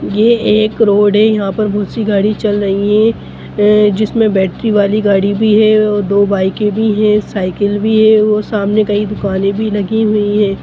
ये एक रोड है यहाँ पर बहुत-सी गाड़ी चल रही है अ-अ जिसमें बैटरी वाली गाड़ी भी है और दो बाइके भी है साइकिल भी है और सामने कई दुकान भी लगी हुई हैं।